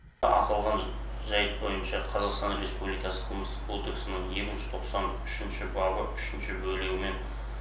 аталған жайт бойынша қазақстан республикасы қылмыстық кодексінің екі жүз тоқсан үшінші бабы үшінші бөлігімен